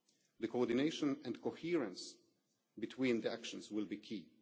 The coordination and coherence between the actions will be